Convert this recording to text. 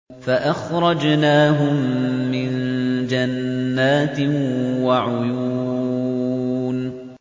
فَأَخْرَجْنَاهُم مِّن جَنَّاتٍ وَعُيُونٍ